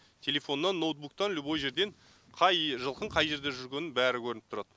телефоннан ноутбуктан любой жерден қай жылқының қай жерде жүргені бәрі көрініп тұрады